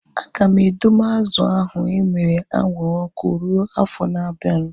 Aga m edowe azụ ahu emere anwụrụ ọkụ rue afọ na abianu